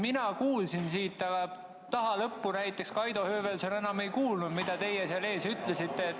Mina siia kuulsin, aga taha lõppu näiteks Kaido Höövelson enam ei kuulnud, mida teie seal ees ütlesite.